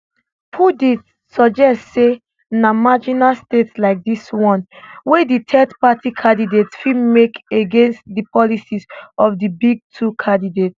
pundits suggest say na marginal states like dis one wia di thirdparty candidates fit make against di policies of di big two candidates